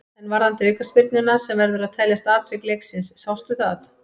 En varðandi aukaspyrnuna sem verður að teljast atvik leiksins, sástu það?